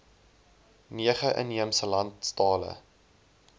nege inheemse landstale